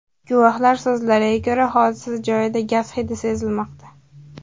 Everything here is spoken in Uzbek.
Guvohlar so‘zlariga ko‘ra, hodisa joyida gaz hidi sezilmoqda.